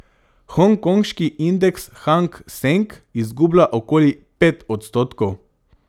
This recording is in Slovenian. Hongkonški indeks Hang Seng izgublja okoli pet odstotkov.